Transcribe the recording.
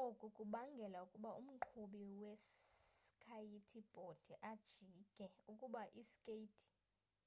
oku kubangela ukuba umqhubi we skayiti bhodi ajike ukuba ii skeyithi